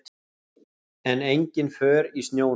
En engin för í snjónum.